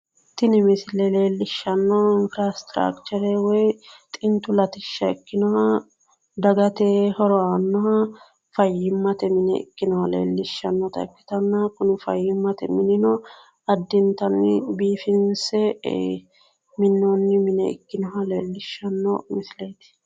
Tini misile leellishshannohu infraasiteraachire woy xintu latishsha ikkinoha dagate horo aannoha fayyimmate mine ikkinoha leellishshannota ikkitanna kuni fayyimmate minino addintanni biifinse minoonni mine ikkinoha leellishshanno misileeti.